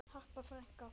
Harpa frænka.